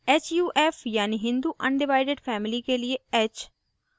huf यानि hindu undivided family के लिए h